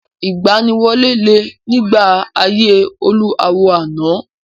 Ìgbaniwọlé le nígbà ayé olú àwo àná.